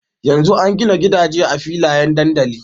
Yanzu an gina gida je a filayen dandali